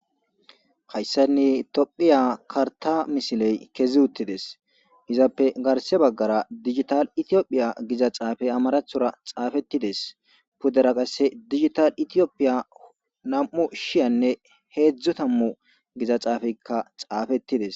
Hayssanne toophphiya karththaa misilee kezuuththi des; izappe garsse baggara gigital ethoophiya gida xuufe amaaraththora xaafeththi des; pudera qassi gigital ethoophiya nam7u shiyanne heezzu thammu giza xaafeekka xaafeththi des.